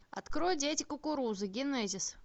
открой дети кукурузы генезис